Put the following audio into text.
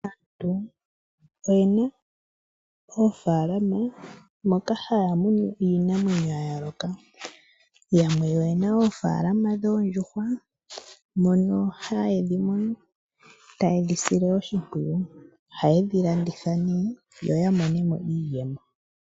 Aantu oyena oofalama moka haya munu iinamwenyo yayooloka. Yamwe oyena oofalama dhoondjuhwa mono haye dhimunu taye dhisile oshipwiyu. Ohaye dhilanditha nee, yo yamone mo iiyemo.